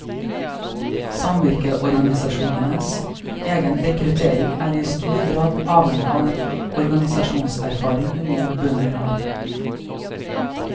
Samvirkeorganisasjonenes egen rekruttering er i stor grad avhengig av den organisasjonserfaring unge bønder har.